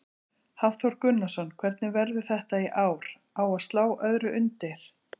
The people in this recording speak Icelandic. Hafþór Gunnarsson: Hvernig verður þetta í ár, á að slá öðru undir?